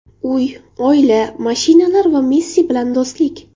Uy, oila, mashinalar va Messi bilan do‘stlik.